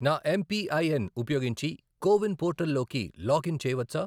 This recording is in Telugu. నా ఎంపిఐఎన్ ఉపయోగించి కో విన్ పోర్టల్ లోకి లాగిన్ చేయవచ్చా?